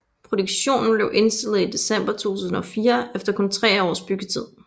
Produktionen blev indstillet i december 2004 efter kun tre års byggetid